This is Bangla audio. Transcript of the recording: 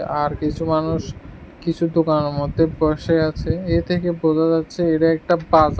আর কিছু মানুষ কিছু দোকানের মধ্যে বসে আছে এ থেকে বোঝা যাচ্ছে এটা একটা বাজার।